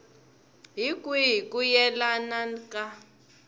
hi kwihi ku yelana ka